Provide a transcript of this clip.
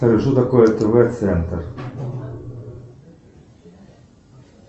что такое тв центр